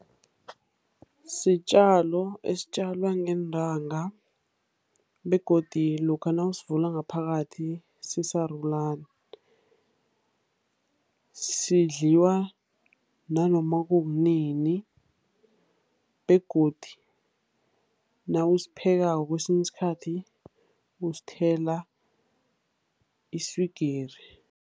Sitjalo esitjalwa ngeentanga begodu lokha nawusivula ngaphakathi sisarulana. Sidliwa nanoma kukunini, begodu nawusiphekako kwesinye isikhathi, usithela iswigiri.